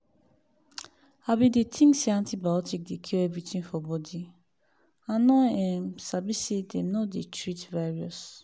i been dey think say antibiotic dey cure everything for body i no um sabi say them no dey treat virius